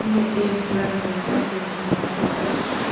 यह एक ट्रक जैसा दिख रहा है ट्रक के --